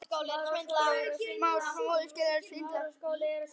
Hér eru nokkur